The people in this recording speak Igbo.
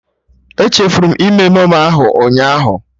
Echefuru m ime memo ahụ ụnyaahụ